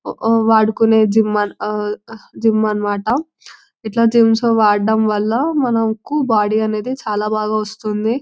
వాడుకునే జిమ్ అని మాట ఇట్ల జిమ్స్ అవి వాడడం వలన మనకు బాడీ చాలా బాగా వస్తుంది